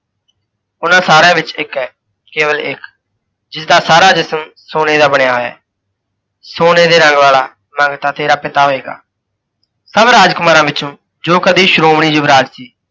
ਓਹਨਾਂ ਸਾਰਿਆਂ ਵਿੱਚ ਇੱਕ ਹੈ ਕੇਵਲ ਇੱਕ, ਜਿਸਦਾ ਸਾਰਾ ਜਿਸਮ ਸੋਨੇ ਦਾ ਬਣਿਆ ਹੋਇਆ ਹੈ। ਸੋਨੇ ਦੇ ਰੰਗ ਵਾਲਾ ਮੰਗਤਾ ਤੇਰਾ ਪਿਤਾ ਹੋਏਗਾ। ਸਭ ਰਾਜਕੁਮਾਰਾਂ ਵਿੱਚੋਂ ਜੋ ਕਦੇ ਸ਼ੋ੍ਮਣੀ ਯੁਵਰਾਜ ਸੀ,